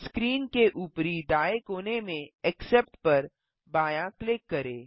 screen के ऊपरी दाएँ कोने में एक्सेप्ट पर बायाँ क्लिक करें